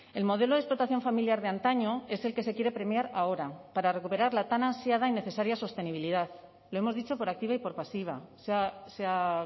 el modelo de explotación familiar de antaño es el que se quiere premiar ahora para recuperar la tan ansiada y necesaria sostenibilidad lo hemos dicho por activa y por pasiva se ha